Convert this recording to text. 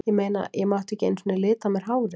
Ég meina, ég mátti ekki einu sinni lita á mér hárið.